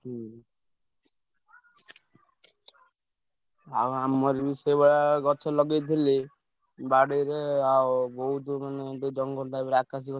ହୁଁ। ଆଉ ଆମର ବି ସେଇଭଳିଆ ଗଛ ଲଗେଇଥିଲେ ବାଡିରେ ଆଉ ବହୁତ ମାନେ ଗୋଟେ ଜଙ୍ଗଲ type ର ଆକାଶି।